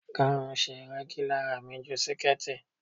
Gáun ṣe rẹ́gí lára mi ju siketi.